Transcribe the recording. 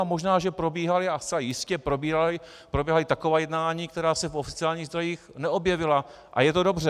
A možná že probíhají, a zcela jistě probíhají taková jednání, která se v oficiálních zdrojích neobjevila, a je to dobře.